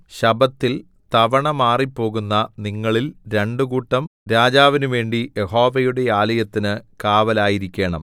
ശബ്ബത്തിൽ തവണ മാറിപോകുന്ന നിങ്ങളിൽ രണ്ടുകൂട്ടം രാജാവിനുവേണ്ടി യഹോവയുടെ ആലയത്തിന് കാവലായിരിക്കേണം